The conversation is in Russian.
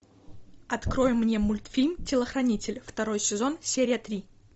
открой мне мультфильм телохранитель второй сезон серия три